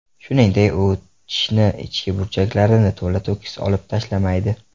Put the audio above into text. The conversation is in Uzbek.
Shuningdek, u tishni ichki burchaklarini to‘la-to‘kis olib tashlamaydi.